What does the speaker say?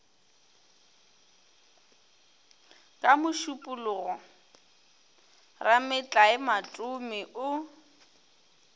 ka mošupologo rametlae matome o